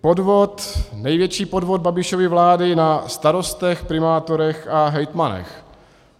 Podvod, největší podvod Babišovy vlády na starostech, primátorech a hejtmanech.